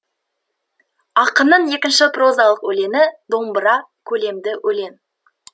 ақынның екінші прозалық өлеңі домбыра көлемді өлең